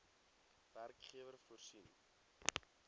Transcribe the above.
werkgewer voorsien